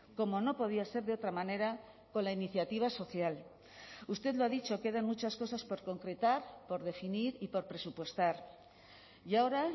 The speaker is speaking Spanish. como no podía ser de otra manera con la iniciativa social usted lo ha dicho quedan muchas cosas por concretar por definir y por presupuestar y ahora